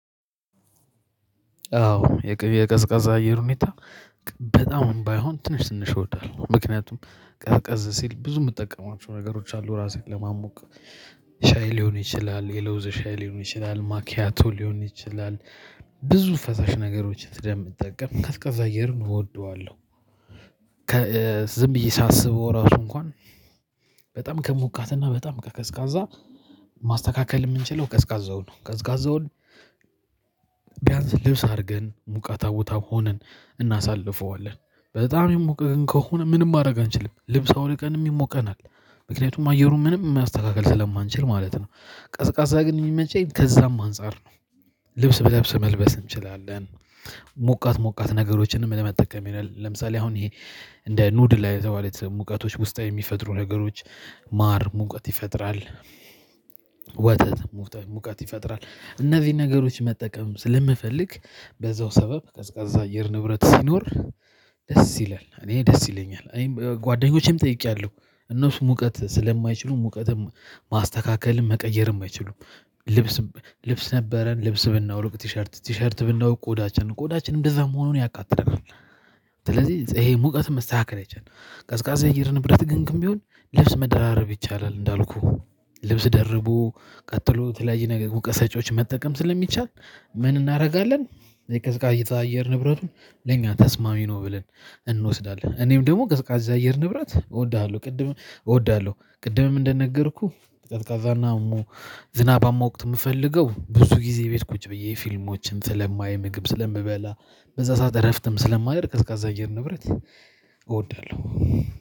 አዎ የቅብ የቀዝቃዛ አየር ሁኔታ በጣም ባይሆን ትንሽ ትንሽ እወዳለሁ። ምክንያቱም ቀዝቀዝ ሲል ብዙ የምጠቀማቸው ነገሮች አሉ ራሴን ለማሞቅ ሻይ ሊሆን ይችላል የለውዝ ሻይ ሊሆን ይችላል ማኪያቶ ሊሆን ይችላል። ብዙ ፈሳሽ ነገሮችን ስለምጠቀም ቀዝቃዛ አየርን እወደዋለሁ። ከ ዝም ብዬ ሳስበው ራሱ እንኳን በጣም ከሞቃትና በጣም ከቀዝቃዛ ማስተካከል የምንችለው ቀዝቃዛው ነው። ቀዝቃዛውን ቢያንስ ልብስ አድርገን ሞቃታ ቦታ ሆነን እናሳልፈዋለን። በጣም የሞቀ ግን ከሆነ ምንም ማድረግ አንችልም ልብስ አውልቀንም ይሞቀናል ምክንያቱም አየሩን ምንም ማስተካክል ስለማንችል ማለት ነው። ቀዝቃዛ ግን የሚመቸኝ ከዛም አንፃር ነው። ልብስ ብለብስ መልበስ እንችላለን። ሞቃት ሞቃት ነገሮችንም ለመጠቀም ይላል ለምሳሌ አሁን ይሄ እንደ ኑድል ሙቀቶች ውስጣዊ የሚፈጥሩ ነገሮች ማር ሙቀት ይፈጥራል። ወተት ሙቀት ይፈጥራል እነዚህን ነገሮች መጠቀም ስለምፈልግ በዛው ሰበብ ቀዝቃዛ አየር ንብረት ሲኖር። ደስ ይላል እኔ ደስ ይለኛል እኔም ጓደኞቼም ጠይቄያለሁ እነሱ ሙቀት ስለማይችሉ ሙቀትም ማስተካከልም መቀየርም አይችሉም። ልብስ ልብስ ነበረን ልብስ ብናወልቅ ቲሸርት ቲሸርት ብናወርቅ ቆዳችንን ቆዳችን እንደዛ መሆኑን ያቃጥለናል። ስለዚህ ይሄ ሙቀት መስተካከል አይችልም። ቀዝቃዛ የአየር ንብረት ግን ግን ቢሆን ልብስ መደራረብ ይቻላል እንዳልኩህ ልብስ ደርቦ ቀጥሎ የተለያየ ነገር ሙቀት ሰጪዎችን መጠቀም ስለሚቻል ምን እናደርጋለን? የቀዝቃዛ አየር ንብረቱን ለኛ ተስማሚ ነው ብለን እንወስዳለን። እኔም ደግሞ ቀዝቃዛ አየር ንብረት እወዳለሁ ቅድም እወዳለሁ ቅድምም እንደነገርኩህ ቀዝቃዛና ሙ ዝናባማ ወቅት የምፈልገው ብዙ ጊዜ ቤት ቁጭ ብዬ ፊልሞችን ስለማይ ምግብ ስለምበላ። በዛ ሰዓት እረፍትም ስለማደርግ ቀዝቃዛ የአየር ንብረት። እወዳለሁ